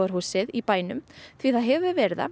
húsið í bænum því það hefur verið það